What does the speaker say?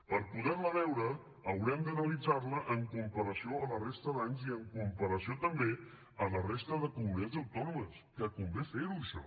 per poder la veure haurem d’analitzar la en comparació a la resta d’anys i en comparació també a la resta de comunitats autònomes que convé fer ho això